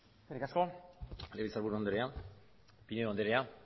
eskerrik asko legebiltzarburu andrea pinedo andrea